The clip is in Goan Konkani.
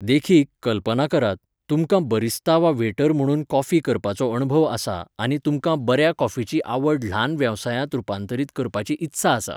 देखीक, कल्पना करात, तुमकां बरिस्ता वा वेटर म्हणून कॉफी करपाचो अणभव आसा आनी तुमकां बऱ्या कॉफीची आवड ल्हान वेवसायांत रुपांतरीत करपाची इत्सा आसा.